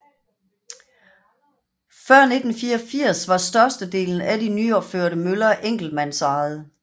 Før 1984 var størstedelen af de nyopførte møller enkeltmandsejede